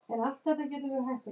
Svarið henni líkt.